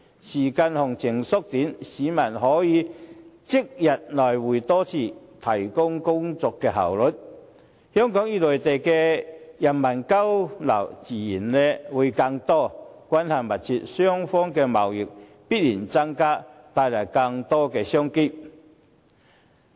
時間行程縮短，市民可以即日來回多次，提高工作效率，香港與內地人民的交流自然增加，關係密切，雙方的貿易必然增加，帶來更多商機。